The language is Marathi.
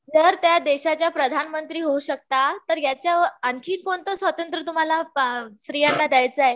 जर त्या देशाच्या प्रधान मंत्री होऊ शकतात तर याच्यावर आणखी कोणतं स्वातंत्र तुम्हाला स्त्रियांना द्यायचं आहे